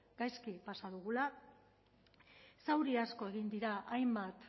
gaizki pasa dugula zauri asko egin dira hainbat